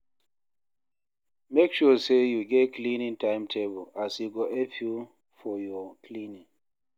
mek sure say yu get cleaning time-table as e go help yu for yur cleaning